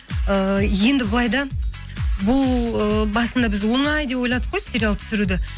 ыыы енді былай да бұл ы басында біз оңай деп ойладық қой сериал түсіруді